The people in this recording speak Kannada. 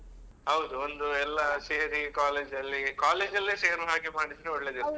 ಹೌದು ಒಂದು ಎಲ್ಲ ಸೇರಿ college ಅಲ್ಲಿ college ಅಲ್ಲೇ ಸೇರೋ ಹಾಗೆ ಮಾಡಿದ್ರೆ ಒಳ್ಳೇದಿರ್ತದೆ .